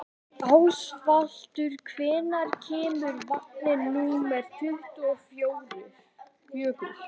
Ásvaldur, hvenær kemur vagn númer tuttugu og fjögur?